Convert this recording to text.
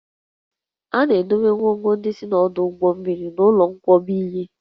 A na-edobe ngwongwo ndị si n'ọdụ ụgbọ mmiri n'ụlọ nkwakọba ihe